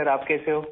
آپ کیسے ہو؟